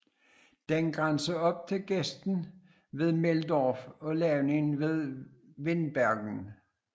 Den grænser op til gesten ved Meldorf og lavningen ved Windbergen